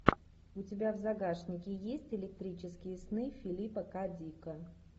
у тебя в загашнике есть электрические сны филипа к дика